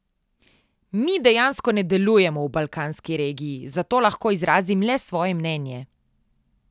Mi dejansko ne delujemo v balkanski regiji, zato lahko izrazim le svoje mnenje.